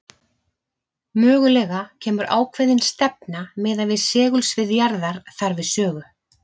Mögulega kemur ákveðin stefna miðað við segulsvið jarðar þar við sögu.